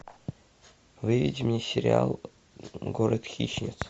выведи мне сериал город хищниц